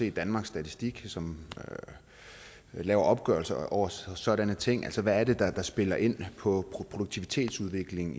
i danmarks statistik som laver opgørelser over sådanne ting altså hvad der spiller ind på produktivitetsudvikling